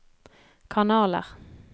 kanaler